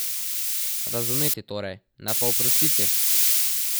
Razumeti torej, ne pa oprostiti!